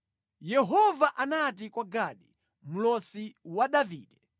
Yehova anati kwa Gadi, mlosi wa Davide,